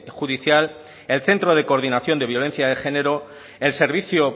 judicial el centro de coordinación de violencia de género el servicio